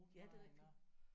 Ja det er rigtigt